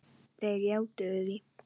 Þeir játuðu því.